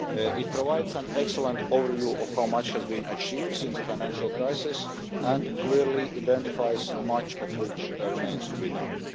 It provides an excellent overview of how much has been achieved since the financial crisis and clearly identifies much of what remains to be done.